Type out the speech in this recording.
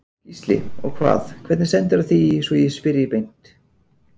Gísli: Og hvað, hvernig stendur á því svo ég spyrji beint?